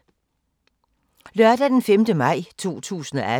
Lørdag d. 5. maj 2018